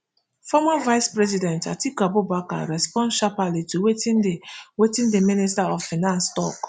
former vice president atiku abubakar respond sharply to wetin di wetin di minister of finance tok